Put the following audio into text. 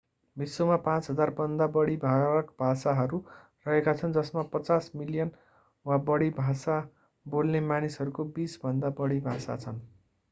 विश्वमा 5,000भन्दा बढी फरक भाषाहरू रहेका छन् जसमा 50 मिलियन वा बढी भाषा बोल्ने मानिसहरूको बीसभन्दा बढि भाषा छन्